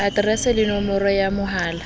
aterese le nomoro ya mohala